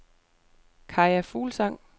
Kaja Fuglsang